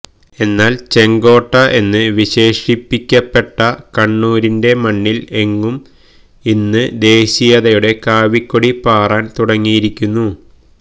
എന്നാല് ചെങ്കോട്ട എന്ന് വിശേഷിപ്പിക്കപ്പെട്ട കണ്ണൂരിന്റെ മണ്ണില് എങ്ങും ഇന്ന് ദേശീയതയുടെ കാവിക്കൊടി പാറാന് തുടങ്ങിയിരിക്കുന്നു